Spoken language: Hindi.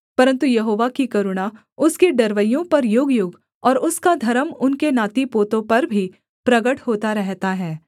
परन्तु यहोवा की करुणा उसके डरवैयों पर युगयुग और उसका धर्म उनके नातीपोतों पर भी प्रगट होता रहता है